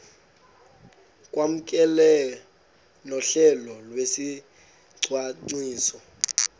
kwamkelwe nohlelo lwesicwangciso